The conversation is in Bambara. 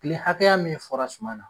Tile hakɛya min fɔra suma na